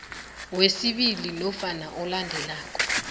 wesibili nofana olandela